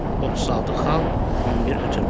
36 xal, 11 ötürmə.